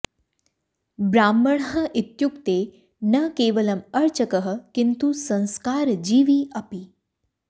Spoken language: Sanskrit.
ब्राह्मणः इत्युक्ते न केवलम् अर्चकः किन्तु संस्कारजीवी अपि